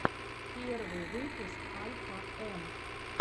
первый выпуск альфа эм